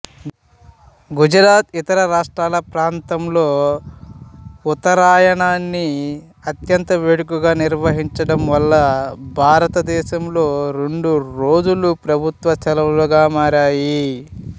గుజరాత్ ఇతర రాష్ట్రాల ప్రాంతంలో ఉత్తరాయాణాన్ని అత్యంత వేడుకగా నిర్వహించటం వలన భారతదేశంలో రెండు రోజులు ప్రభుత్వ సెలవులగా మారాయి